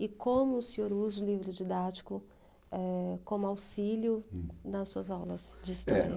E como o senhor usa o livro didático, eh, como auxílio, hm, nas suas aulas de história? É,